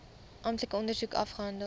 amptelike ondersoek afgehandel